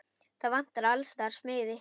Það vantar alls staðar smiði.